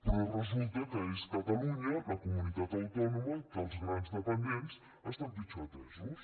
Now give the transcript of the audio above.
però resulta que és catalunya la comunitat autònoma en què els grans dependents estan pitjor atesos